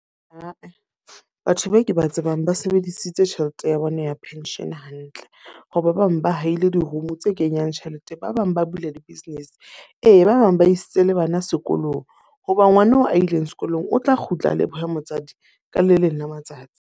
Ah-eh, batho bao ke ba tsebang ba sebedisitse tjhelete ya bona ya pension hantle. Ho ba bang ba haile di-room tse kenyang tjhelete. Ba bang ba bula di-business. Ee, ba bang ba isitse le bana sekolong. Hoba ngwana eo a ileng sekolong o tla kgutla a lebohe motswadi ka le leng la matsatsi.